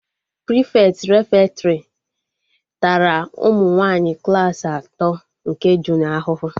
Prịfeti refektọrị tara ụmụ nwaanyị klaasị atọ nke junịọ ahụhụ